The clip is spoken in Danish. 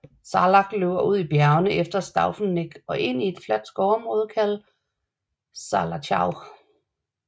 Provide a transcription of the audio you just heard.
Saalach løber ud af bjergene efter Staufeneck og ind i et fladt skovområde kaldet Saalachau